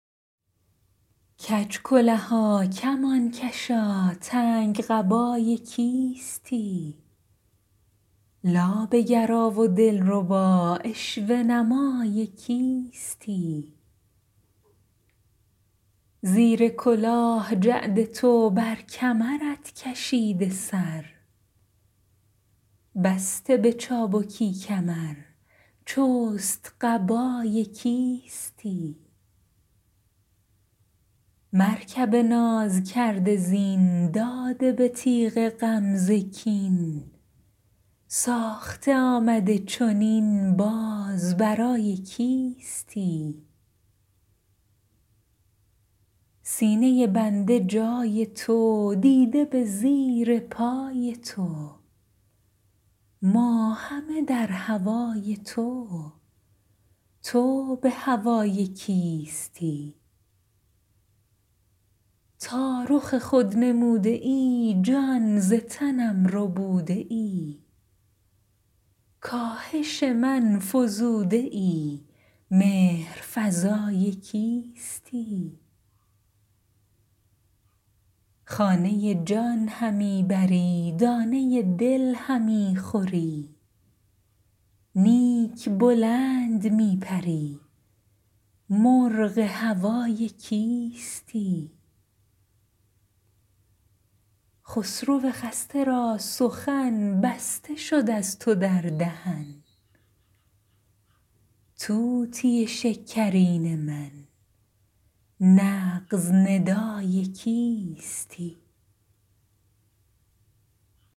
کج کلها کمان کشا تنگ قبای کیستی لابه گرا و دلبرا عشوه نمای کیستی زیر کلاه جعد تو بر کمرت کشیده سر بسته به چابکی کمر چست قبای کیستی مرکب ناز کرده زین داده به تیغ غمزه کین ساخته آمده چنین باز برای کیستی سینه بنده جای تو دیده به زیر پای تو ما همه در هوای تو تو به هوای کیستی تا رخ خود نموده ای جان ز تنم ربوده ای کاهش من فزوده ای مهر فزای کیستی خانه جان همی بری دانه دل همی خوری نیک بلند می پری مرغ هوای کیستی خسرو خسته را سخن بسته شد از تو در دهن طوطی شکرین من نغز ندای کیستی